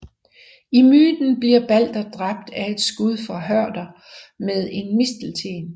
I myten bliver Balder dræbt af et skud fra Høder med en mistelten